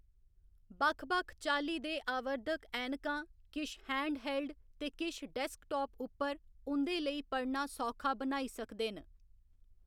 बक्ख बक्ख चाल्ली दे आवर्धक ऐनकां, किश हैंडहेल्ड ते किश डेस्कटॅाप उप्पर, उं'दे लेई पढ़ना सौखा बनाई सकदे न।